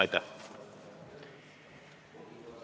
Aitäh!